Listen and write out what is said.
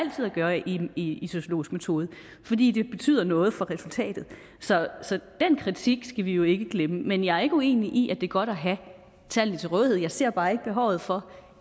gøre i en sociologisk metode fordi det betyder noget for resultatet så den kritik skal vi jo ikke glemme men jeg er ikke uenig i at det er godt at have tallene til rådighed jeg ser bare ikke behovet for